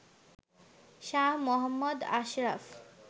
Shah Mohammad Ashraf